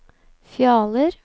Fjaler